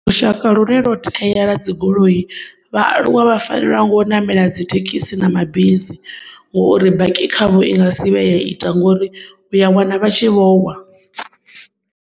Lushaka lune loteya lwa dzigoloi, vhaaluwa vhafanelwa ngo u namela dzithekhisi na mabisi ngouri baki khavho i nga si vhuye ya ita ngori u ya wana vhatshi vhowa.